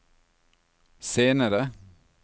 senere